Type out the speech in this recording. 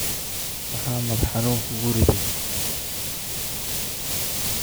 Maxaa madax xanuun kugu riday?